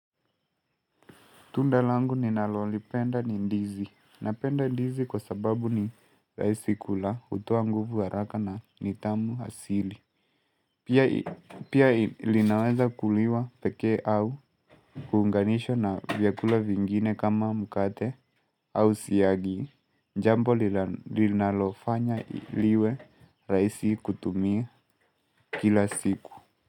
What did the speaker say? Tunda langu ninalolipenda ni ndizi. Napenda ndizi kwa sababu ni rahisi kula hutoa nguvu haraka na nitamu asili. Pia Pia linaweza kuliwa pekee au kuunganishwa na vyakula vingine kama mkate au siyagi. Jambo linalofanya liwe rahisi kutumia kila siku.